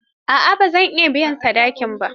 A'a, ba a biya sadakin ba.